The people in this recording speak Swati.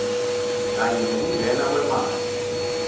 kanye nekungena kwemali